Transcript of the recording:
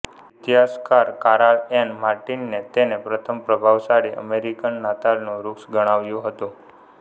ઇતિહાસકાર Karal Ann માર્ટિને તેને પ્રથમ પ્રભાવશાળી અમેરિકન નાતાલનું વૃક્ષ ગણાવ્યું હતું